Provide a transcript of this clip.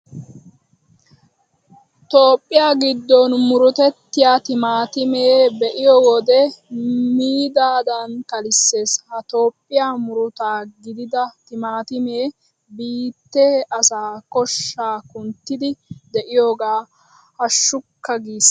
Toophphiya giddon murutettiya timaatimeta be'iyo wode miidaadan kalissees. Ha Toophphiya murutaa gidida timaatimee biittee asaa koshshaa kunttiiddi de'iyogee hashshukka giissiyaba.